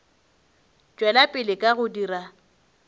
tšwela pele ka go dira